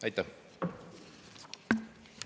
Aitäh!